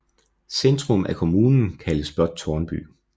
Centrum af kommunen kaldes blot Tårnby